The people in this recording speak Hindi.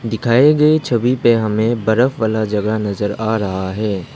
दिखाए गए छवि पे हमे बरफ़ वाला जगह नजर आ रहा है।